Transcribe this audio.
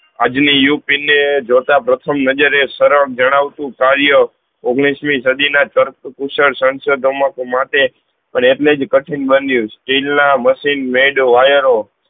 આજની ઉપીન ને જોતા પ્રથમ નજરે સરળ જણાવતું કાર્ય ઓગણીસમી સદી ના સાંસદો મા માટે પણ એટલે જ કઠીન બન્યું સ્ટીલ ના machine made wire